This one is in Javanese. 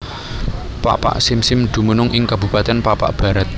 Pakpak Simsim dumunung ing kabupatèn Pakpak Bharat